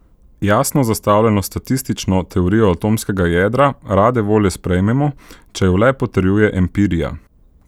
Jasno zastavljeno statistično teorijo atomskega jedra rade volje sprejmemo, če jo le potrjuje empirija.